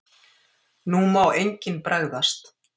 NÚ MÁ ENGINN BREGÐAST!